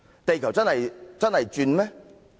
地球真的在轉動嗎？